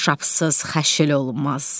Düşabsız xaşıl olmaz.